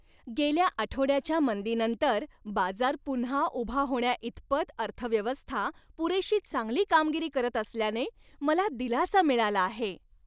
गेल्या आठवड्याच्या मंदीनंतर बाजार पुन्हा उभा होण्याइतपत अर्थव्यवस्था पुरेशी चांगली कामगिरी करत असल्याने मला दिलासा मिळाला आहे.